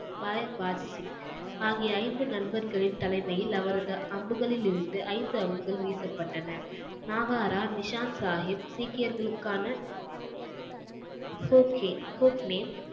பாய் வாஜ் சிங் ஆகிய ஐந்து நண்பர்களின் தலைமையில் அவரது அம்புகளிலிருந்து ஐந்து அம்புகள் வீசப்பட்டன நாகாரா நிஷாந்த் சாஹிப் சீக்கியர்களுக்கான ஹோகே ஹோக்னேன்